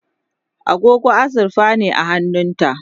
agogo azurfa ne a hannunta